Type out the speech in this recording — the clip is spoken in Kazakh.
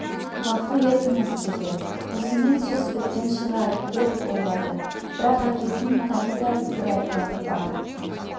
ғафу етіңіз деді осымен сөз біткен шығар деп ойлады бірақ әкесінің тағы да бір айтпағы бар